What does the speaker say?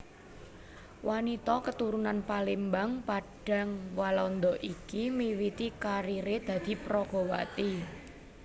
Wanita keturunan Palembang Padang Walanda iki miwiti karieré dadi peragawati